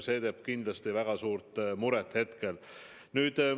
See teeb hetkel kindlasti väga suurt muret.